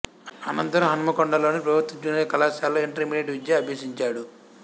అనంతరం హన్మకొండలోని ప్రభుత్వ జూనియర్ కళాశాలలో ఇంటర్మీడియేట్ విద్య అభ్యసించాడు